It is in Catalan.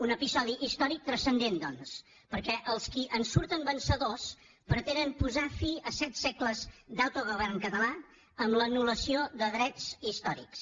un episodi històric transcendent doncs perquè els qui en surten vencedors pretenen posar fi a set segles d’autogovern català amb l’anul·lació de drets històrics